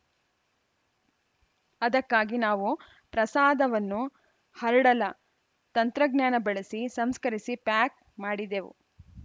ಅದಕ್ಕಾಗಿ ನಾವು ಪ್ರಸಾದವನ್ನು ಹರ್ಡಲ ತಂತ್ರಜ್ಞಾನ ಬಳಸಿ ಸಂಸ್ಕರಿಸಿ ಪ್ಯಾಕ್‌ ಮಾಡಿದೆವು